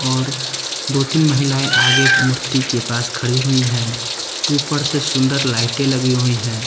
और दो तीन महिलाएं आगे मूर्ति के पास खड़ी हुई हैं ऊपर से सुंदर लाइटे लगी हुई हैं।